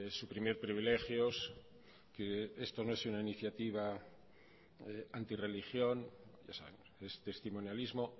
suprimir privilegios que esto no es una iniciativa antirreligión es testimonialismo